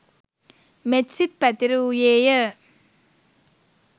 මෙත්සිත් පැතිර වූයේය.